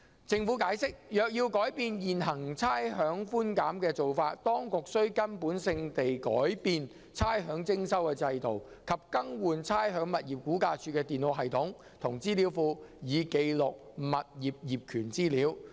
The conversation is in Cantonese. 政府解釋，若要改變現行差餉寬減的做法，當局須根本性地改變差餉徵收制度，以及更換估價署的電腦系統和資料庫以記錄物業業權資料。